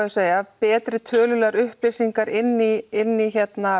að segja betri tölulegar upplýsingar inn í inn í